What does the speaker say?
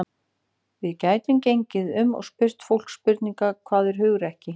Við gætum gengið um og spurt fólk spurningarinnar: Hvað er hugrekki?